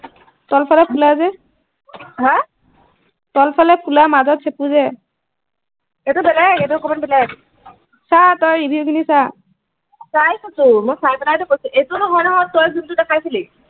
তল ফালে ফুলা যে হা তল ফালে ফুলা মাজত চুটি যে এইটো বেলেগ এইটো অকন মান বেলেগ চা তই review খিনি চা চাই চো মই চাই পেলাই টো কৈছো এইটো নহয় নহয় তই যোনটো দেখাইছিলি